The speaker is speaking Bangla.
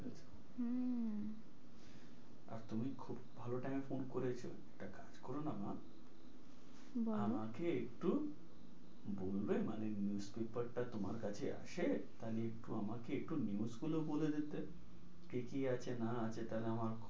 ভালো time এ phone করেছো, একটা কাজ করো না মা বলো আমাকে একটু বলবে মানে news paper টা তোমার কাছে আছে? তা হলে একটু আমাকে একটু news গুলো বলে দিতে কি কি আছে না আছে? তা হলে আমার